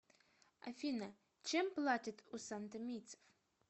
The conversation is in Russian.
афина чем платят у сантомийцев